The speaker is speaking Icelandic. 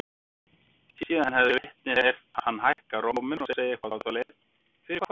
Síðan hefði vitnið heyrt hann hækka róminn og segja eitthvað á þá leið: Fyrir hvað?